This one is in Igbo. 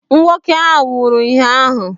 Nwoke ahụ nwụrụ ụnyaahụ.